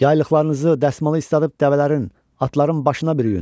Yaylıqlarınızı, dəsmalı isladıb dəvələrin, atların başına bürüyün.